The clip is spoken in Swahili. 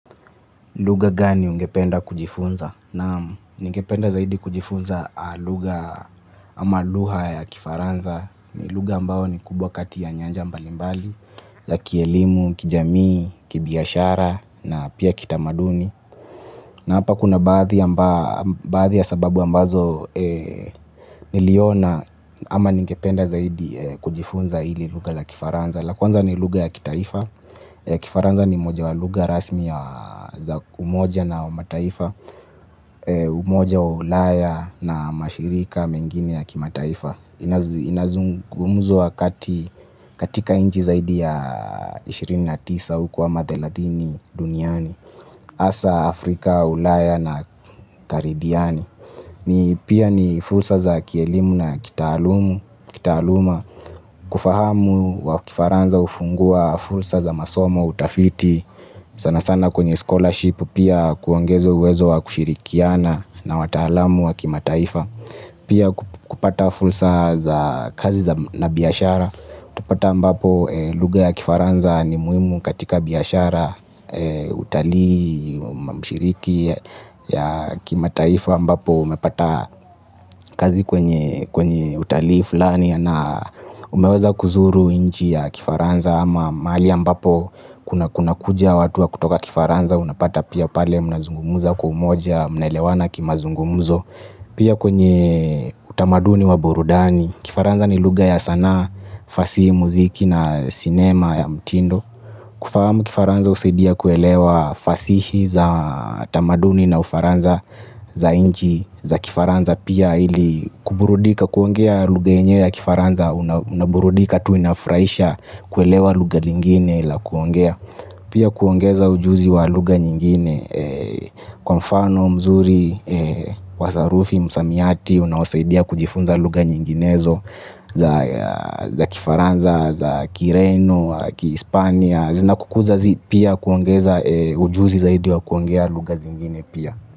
Lugha gani ungependa kujifunza? Naam, ningependa zaidi kujifunza lugha ama lugha ya kifaransa. Lugha ambao ni kubwa kati ya nyanja mbalimbali, ya kielimu, kijamii, kibiashara, na pia kitamaduni. Na hapa kuna baadhi ya sababu ambazo niliona ama ningependa zaidi kujifunza ili lugha la kifaransa. La kwanza ni lugha ya kitaifa kifaransa ni moja wa lugha rasmi ya umoja na mataifa. Umoja wa ulaya na mashirika mengini ya kimataifa. Inazungumzwa wakati katika nchi zaidi ya ishirini na tisa huko ama thelathini duniani hasa Afrika, ulaya na karibiani. Ni pia ni fursa za kielimu na kitaaluma. Kitaaluma kufahamu wa kifaransa hufungua fursa za masomo utafiti sana sana kwenye scholarship pia kuongeza uwezo wa kushirikiana na wataalamu wa kimataifa. Pia kupata fursa za kazi na biashara. Utapata ambapo lugha ya kifaransa ni muhimu katika biashara utalii mshiriki ya kimataifa ambapo umepata kazi kwenye kwenye utalii fulani na umeweza kuzuru nchi ya kifaransa ama mahali ambapo kuna kunakuja watu wa kutoka kifaransa unapata pia pale mnazungumza kwa umoja mnaelewana kimazungumzo pia kwenye utamaduni wa burudani kifaransa ni lugha ya sanaa fasihi muziki na sinema ya mtindo kufahamu kifaransa husaidia kuelewa fasihi za tamaduni na ufaransa za nchi za kifaransa pia ili kuburudika kuongea lugha yenyewe ya kifaransa unaburudika tu inafurahisha kuelewa lugha lingine la kuongea pia kuongeza ujuzi wa lugha nyingine kwa mfano mzuri wa sarufi msamiati unawasaidia kujifunza lugha nyinginezo za kifaransa za kireno wa kihispania zinakukuza pia kuongeza ujuzi zaidi wa kuongea lugha zingine pia.